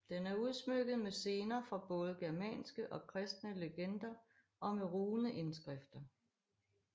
Den er udsmykket med scener fra både germanske og kristne legender og med runeindskrifter